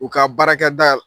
U ka baarakɛta